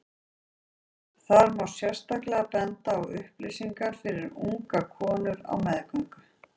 Þar má sérstaklega benda á upplýsingar fyrir ungar konur á meðgöngu.